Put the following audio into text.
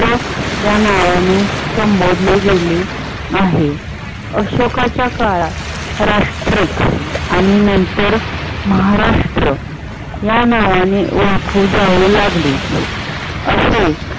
या नावाने संबोधले गेले आहे. अशोकाच्या काळात राष्ट्र आणि नंतर महाराष्ट्र या नावाने ओळखले जाऊ लागले.